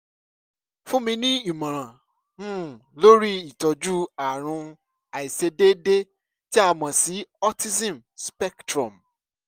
fúnni ní ìmọ̀ràn um lórí ìtọ́jú ààrùn àìṣedéédé tí a mọ̀ sí autism spectrum